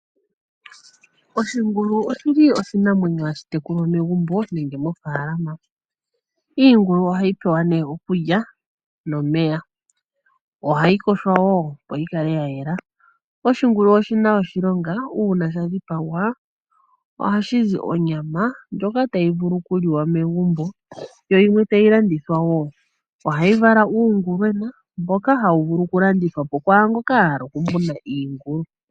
Oshingulu oshili oshinamwenyo ha shi tekulwa megumbo nenge mo faalama, iingulu oha yi pewa ne okulya nomeya. Oha yi yogwa ne opo yi kale ya yela, oshingulu oshi na oshilonga, uuna sha dhipagwa, oha shi zi onyama ndjoka ta yi vulu okuliwa megumbo yo yimwe ta yi landithwa wo. Oha yi vala uungulwena, mboka ha wu vulu oku landithwa kwaamboka ya hala oku muna iingulu.